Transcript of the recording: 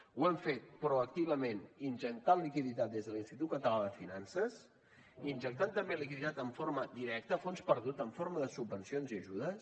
ho hem fet proactivament injectant liquiditat des de l’institut català de finances injectant també liquiditat en forma directa a fons perdut en forma de subvencions i ajudes